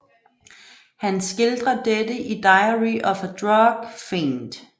Han skildrer dette i Diary of a Drug Fiend